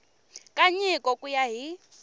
ka nyiko ku ya hi